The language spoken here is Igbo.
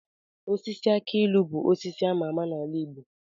Osisi aki ilu bụ osisi ama ama n'ala igbo